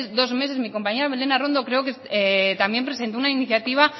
dos meses mi compañera belen arrondo creo que también presentó una iniciativa